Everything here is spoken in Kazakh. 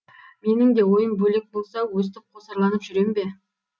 менің де ойым бөлек болса өстіп қосарланып жүрем бе